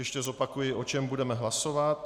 Ještě zopakuji, o čem budeme hlasovat.